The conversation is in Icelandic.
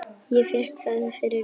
Ég fékk það fyrir lítið.